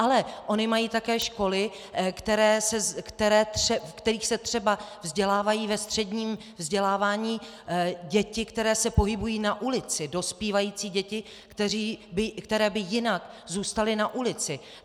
Ale ony mají také školy, v kterých se třeba vzdělávají ve středním vzdělávání děti, které se pohybují na ulici, dospívající děti, které by jinak zůstaly na ulici.